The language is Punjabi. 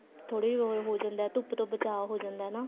ਥੋੜਾ ਉਹ ਜਾਂਦਾ ਧੁੱਪ ਤੋਂ ਬਚਾ ਹੋ ਜਾਂਦਾ ਨਾ